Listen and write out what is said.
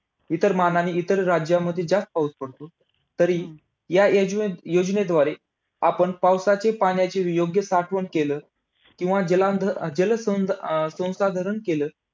इतर मानाने इतर राज्यामध्ये जास्त पाऊस पडतो. तरी या योजनेद्वारे, आपण पावसाच्या पाण्याची योग्य साठवण केलं किंवा जल अं जल संसाधरण केलं